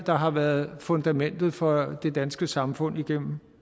der har været fundamentet for det danske samfund igennem